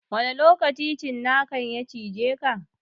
Wani lokaci cinakan ya cijeka?